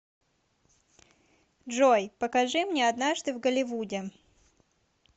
джой покажи мне однажды в голливуде